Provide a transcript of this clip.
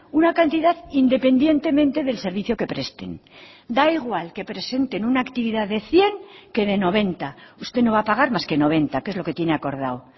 una cantidad independientemente del servicio que presten da igual que presenten una actividad de cien que de noventa usted no va a pagar más que noventa que es lo que tiene acordado